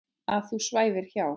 Að þú svæfir hjá.